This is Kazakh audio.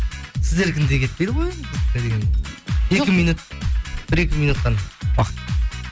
сіздердікіндей кетпейді ғой екі минут бір екі минут қана уақыт